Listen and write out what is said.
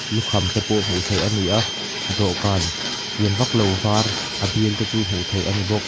lukham te pawh hmuh theih a ni a dawhkân lian vak lo vâr a bialte chu hmuh theih a ni bawk.